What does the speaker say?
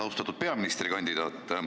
Austatud peaministrikandidaat!